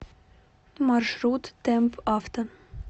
маршрут темпавто